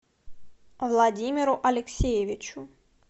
владимиру алексеевичу